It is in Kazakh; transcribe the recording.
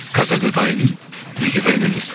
қазір де дайынмын неге дайын емес